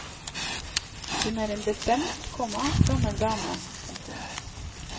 Hun er en bestemt, komma gammel dame. punktum